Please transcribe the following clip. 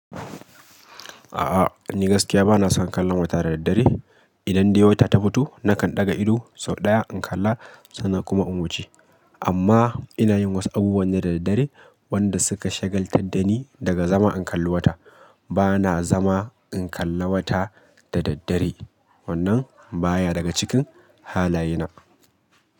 A'a, ni gaskiya ba na son kallon wata da daddare. Idan dai wata ta fito, nakan ɗaga idu sau ɗaya in kalla sannan kuma in wuce. Amma ina yin wasu abubuwan ne da daddare wanda suka shagaltar da ni daga zama in kalli wata. Ba na zama in kalla wata da daddare, wannan ba ya daga cikin halayena.